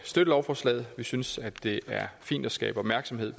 støtte lovforslaget vi synes at det er fint at skabe opmærksomhed